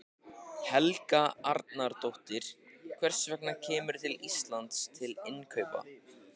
Helga Arnardóttir: Hvers vegna kemurðu til Íslands til innkaupa?